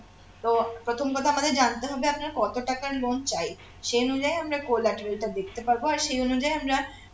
তো প্রথম কথা আমাদের জানতে হবে আপনার কত টাকার loan চাই সেই অনুযায়ী আমরা collateral টা দেখতে পারব আর সেই অনুযায়ী আমরা